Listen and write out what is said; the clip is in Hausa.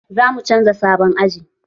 Zamu canza sabon aji